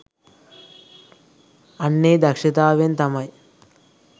අන්න ඒ දක්ෂතාවයෙන් තමයි